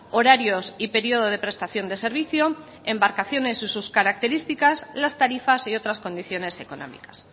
horarios y periodo de prestación de servicio embarcaciones y sus características las tarifas y otras condiciones económicas